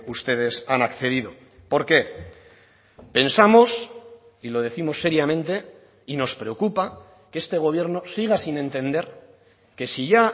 ustedes han accedido por qué pensamos y lo décimos seriamente y nos preocupa que este gobierno siga sin entender que si ya